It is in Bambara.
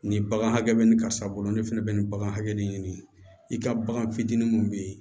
Ni bagan hakɛ bɛ nin karisa bolo ne fɛnɛ bɛ nin bagan hakɛ ɲini i ka bagan fitinin mun bɛ yen